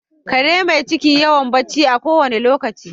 Kare mai ciki yawa barci a ko wanda lokaci.